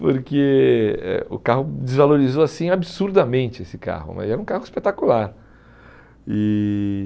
porque eh o carro desvalorizou assim absurdamente, esse carro, mas era um carro espetacular. E